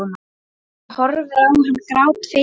Hún horfir á hann grátfegin.